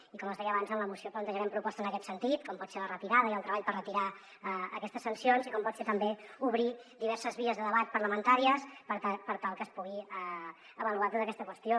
i com els hi deia abans en la moció plantejarem propostes en aquest sentit com pot ser la retirada i el treball per retirar aquestes sancions i com pot ser també obrir diverses vies de debat parlamentàries per tal que es pugui avaluar tota aquesta qüestió